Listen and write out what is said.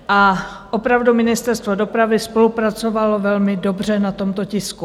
A opravdu Ministerstvo dopravy spolupracovalo velmi dobře na tomto tisku.